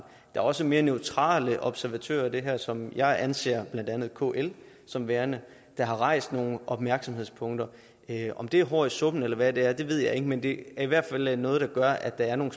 er også mere neutrale observatører i det her som jeg anser blandt andet kl som værende der har rejst nogle opmærksomhedspunkter om det er hår i suppen eller hvad det er ved jeg ikke men det er i hvert fald noget der gør at der er nogle